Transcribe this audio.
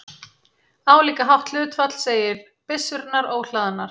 Álíka hátt hlutfall segir byssurnar óhlaðnar.